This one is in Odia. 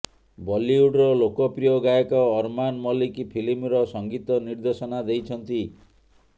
ବଲିଉଡ୍ର ଲୋକପ୍ରିୟ ଗାୟକ ଅର୍ମାନ ମଲିକ୍ ଫିଲ୍ମର ସଙ୍ଗୀତ ନିର୍ଦ୍ଦେଶନା ଦେଇଛନ୍ତି